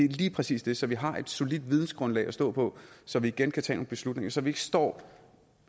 lige præcis det så vi har et solidt vidensgrundlag at stå på så vi igen kan tage nogle beslutninger så vi ikke står